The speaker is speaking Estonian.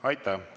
Aitäh!